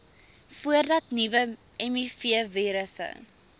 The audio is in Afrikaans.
voordat nuwe mivirusse